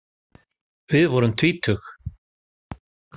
Við vorum tvítug.